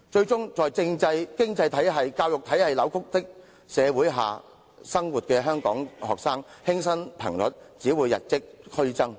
香港學生在政制、經濟體系、教育體系出現扭曲的社會生活，輕生頻率只會與日俱增。